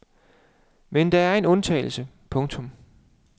Men der er en undtagelse. punktum